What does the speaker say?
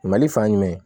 Mali fan jumɛn